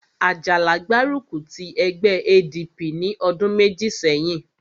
Àjàlá gbárùkù ti ẹgbẹ́ ADP ní ọdún méjì sẹ́yìn